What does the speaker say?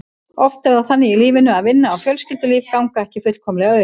Oft er það þannig í lífinu að vinna og fjölskyldulíf ganga ekki fullkomlega upp.